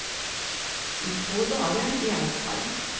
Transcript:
I två dagar i alla fall.